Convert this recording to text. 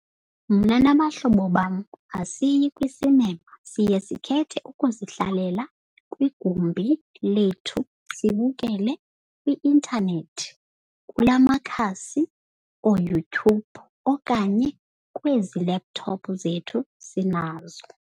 Mna nabahlobo bam asiyi kwisinema siye sikhethe ukuzihlalela kwigumbi lethu sibukele kwi-intanethi kula makhasi ooYouTube okanye kwezi laptop zethu sinazo.